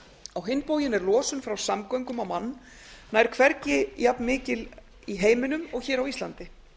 á hinn bóginn er losun frá samgöngum á mann nær hvergi jafnmikil í heiminum og hér á íslandi